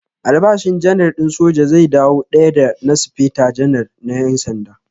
Albashin Janar din soja zai dawo daya da na Speta Janar na ƴan sanda.